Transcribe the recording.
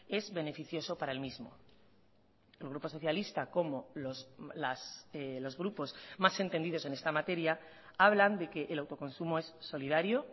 es beneficioso para el mismo el grupo socialista como los grupos más entendidos en esta materia hablan de que el autoconsumo es solidario